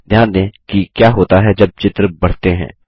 ध्यान दें कि क्या होता है जब चित्र बढ़ते हैं